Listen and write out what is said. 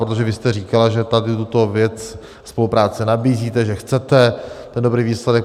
Protože vy jste říkala, že tady tuto věc, spolupráci nabízíte, že chcete ten dobrý výsledek.